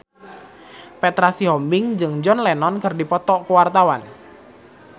Petra Sihombing jeung John Lennon keur dipoto ku wartawan